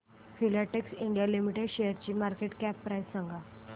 Filatex India limited शेअरची market cap price सांगा